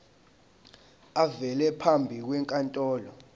avele phambi kwenkantolo